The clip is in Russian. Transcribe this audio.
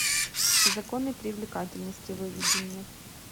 законы привлекательности выведи мне